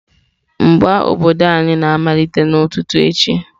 Mgba mgba obodo anyị na-amalite n'ụtụtụ echi.